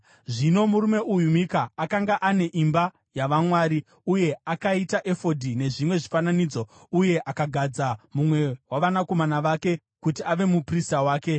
Zvino murume uyu Mika, akanga ane imba yavamwari, uye akaita efodhi nezvimwe zvifananidzo uye akagadza mumwe wavanakomana vake kuti ave muprista wake.